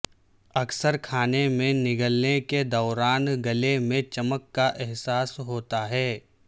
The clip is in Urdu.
اکثر کھانے میں نگلنے کے دوران گلے میں چمک کا احساس ہوتا ہے